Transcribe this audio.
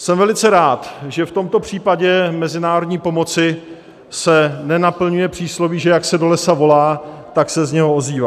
Jsem velice rád, že v tomto případě mezinárodní pomoci se nenaplňuje přísloví, že jak se do lesa volá, tak se z něho ozývá.